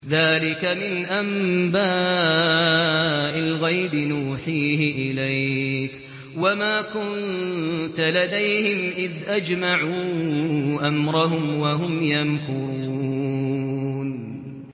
ذَٰلِكَ مِنْ أَنبَاءِ الْغَيْبِ نُوحِيهِ إِلَيْكَ ۖ وَمَا كُنتَ لَدَيْهِمْ إِذْ أَجْمَعُوا أَمْرَهُمْ وَهُمْ يَمْكُرُونَ